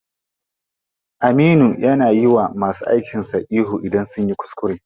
Aminu ya na yiwa masu aikin sa ihu idan sunyi kuskure.